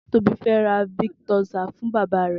Tobi fè rà viktósá fùn bàbá rẹ